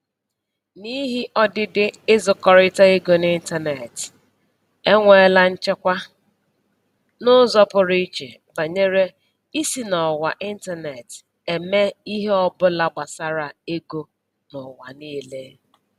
N'ihi ọdịdị ịzụkọrịta ego n'ịntaneetị, enweela nchekwa n'ụzọ pụrụ iche banyere isi n'ọwa ịntaneetị eme ihe ọbụla gbasara ego n'ụwa niile